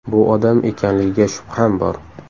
Bu odam ekanligiga shubham bor.